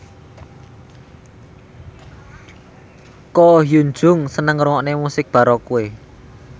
Ko Hyun Jung seneng ngrungokne musik baroque